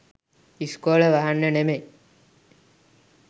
ඉස්කොල වහන්න නෙමයි